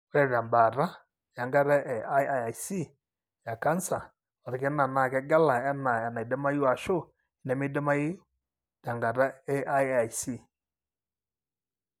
ore tembaata, enkata e IIIC ecanser olkina na kegela ena enaidimayu ashu enemeidimayu, enkataa IIIc.